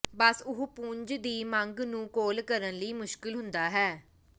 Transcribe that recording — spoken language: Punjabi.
ਬਸ ਉਹ ਪੁੰਜ ਦੀ ਮੰਗ ਨੂੰ ਕਾਲ ਕਰਨ ਲਈ ਮੁਸ਼ਕਲ ਹੁੰਦਾ ਹੈ